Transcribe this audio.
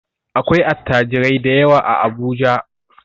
Akwai attajirai dayawa a Abuja.